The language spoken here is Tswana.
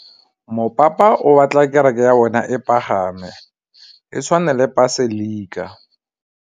Mopapa o batla kereke ya bone e pagame, e tshwane le paselika.